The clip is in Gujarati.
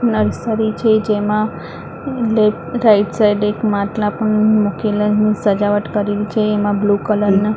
નર્સરી છે જેમાં લેફ્ટ રાઈટ સાઈડ એક માટલા પણ મુકેલા સજાવટ કરેલી છે એમાં બ્લુ કલર ના--